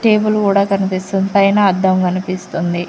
Table కూడా కనిపిస్తుంది పైన అద్దం కనిపిస్తుంది.